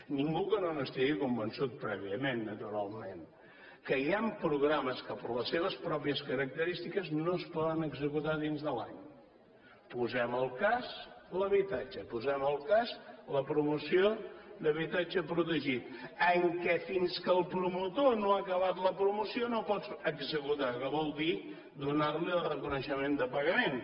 ningú que no n’estigui convençut prèviament naturalment que hi han programes que per les seves pròpies característiques no es poden executar dins de l’any posem el cas l’habitatge posem el cas la promoció d’habitatge protegit en què fins que el promotor no ha acabat la promoció no el pots executar que vol dir donarli el reconeixement de pagament